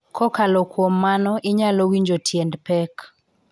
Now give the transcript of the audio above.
Kokalo kuom mano, inyalo winjo tiend pek